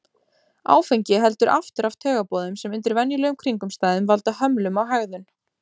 Áfengi heldur aftur af taugaboðum sem undir venjulegum kringumstæðum valda hömlum á hegðun.